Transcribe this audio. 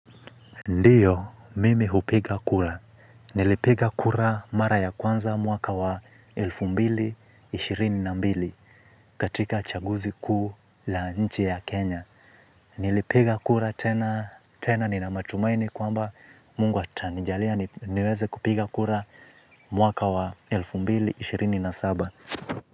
Ndiyo, mimi hupiga kura. Nilipiga kura mara ya kwanza mwaka wa elfu mbili na ishirini na mbili katika chaguzi kuu la nchi ya Kenya. Nilipiga kura tena, tena nina matumaini kwamba mungu atanijalia niweze kupiga kura mwaka wa elfu mbili na ishirini na saba.